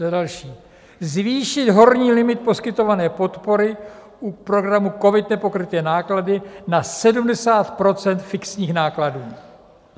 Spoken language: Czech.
Za další: "Zvýšit horní limit poskytované podpory u programu COVID - Nepokryté náklady na 70 % fixních nákladů."